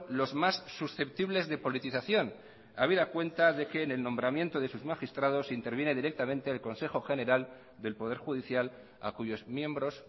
los más susceptibles de politización habida cuenta de que en el nombramiento de sus magistrados interviene directamente el consejo general del poder judicial a cuyos miembros